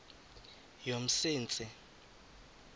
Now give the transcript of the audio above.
yomsintsi